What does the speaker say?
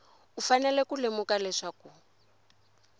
u fanele ku lemuka leswaku